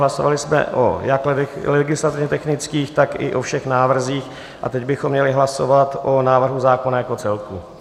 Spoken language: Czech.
Hlasovali jsme jak o legislativně technických, tak i o všech návrzích a teď bychom měli hlasovat o návrhu zákona jako celku.